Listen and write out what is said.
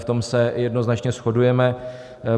V tom se jednoznačně shodujeme.